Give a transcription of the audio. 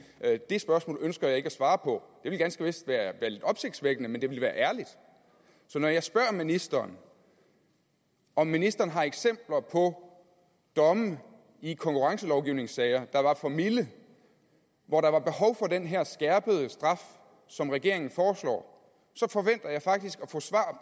det spørgsmål ønsker jeg ikke svare på ville ganske vist være lidt opsigtvækkende men det ville være ærligt så når jeg spørger ministeren om ministeren har eksempler på domme i konkurrencelovgivningssager der var for milde og hvor der var behov for den her skærpede straf som regeringen foreslår så forventer jeg faktisk